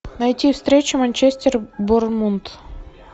найти встречу манчестер борнмут